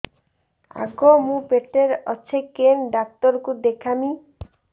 ଆଗୋ ମୁଁ ପେଟରେ ଅଛେ କେନ୍ ଡାକ୍ତର କୁ ଦେଖାମି